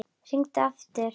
Hringi aftur!